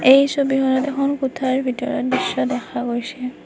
এই ছবিখনত এখন কোঠাৰ ভিতৰত দৃশ্য দেখা গৈছে।